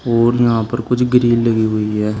और यहां पर कुछ ग्रील लगी हुई है।